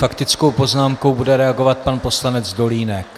Faktickou poznámkou bude reagovat pan poslanec Dolínek.